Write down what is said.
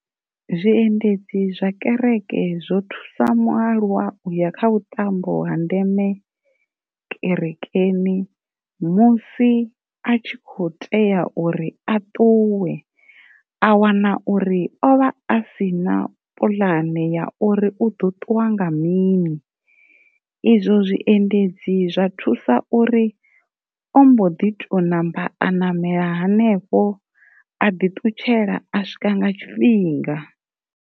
Zwiendedzi zwa kereke zwo thusa mualuwa uya kha vhuṱambo ha ndeme kerekeni musi a tshi kho tea uri a ṱuwe a wana uri o vha a si na puḽane ya uri u ḓo ṱuwa nga mini. Izwo zwiendedzi zwa thusa uri ombo ḓi to namba a namela hanefho a ḓi ṱutshela a swika nga tshifhinga.